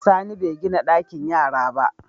Sani begina ɗakin yara ba